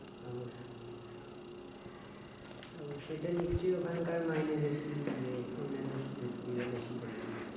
অবশ্যই তো সেটা নিশ্চই ওখানকার মাইনে বেশি ইয়ে অন্যান্য সুযোগ সুবিধা বেশি বলে